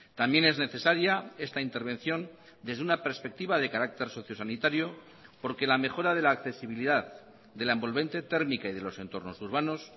también es necesaria esta intervención desde una perspectiva de carácter socio sanitario porque la mejora de la accesibilidad de la envolvente térmica y de los entornos urbanos